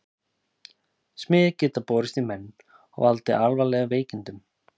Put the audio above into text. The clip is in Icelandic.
Smit gat borist í menn og valdið alvarlegum veikindum.